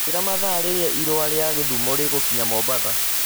njiĩra mathaa rĩria irũa rĩa githumo riĩgũkinya mombatha